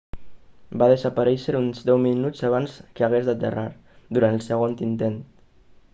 va desaparèixer uns deu minuts abans que hagués d'aterrar durant el segon intent